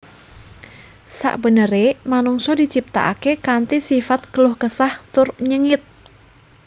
Sakbeneré manungsa diciptakaké kanthi sifat keluh kesah tur nyengit